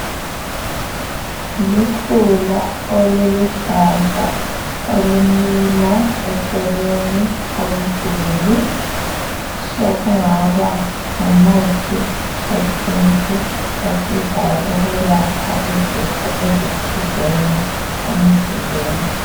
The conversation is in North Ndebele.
Lukhula oluluhlaza olumila eceleni komduli sokungaba ngumuthi wesintu osizayo ukwelapha izifo ezithizeni emzimbeni.